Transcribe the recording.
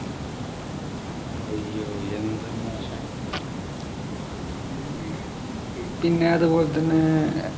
അയ്യോ എന്ത് മോശായി ഈ പിന്നെ അതുപോലെ തന്നെ